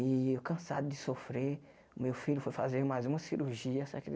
E eu cansado de sofrer, o meu filho foi fazer mais uma cirurgia, só que ele